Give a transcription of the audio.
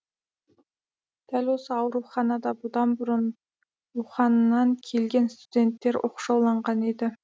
дәл осы ауруханада бұдан бұрын уханьнан келген студенттер оқшауланған еді